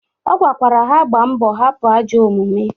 Ọ gwa lkwara ha gbaa mbọ hapụ ajọ omume.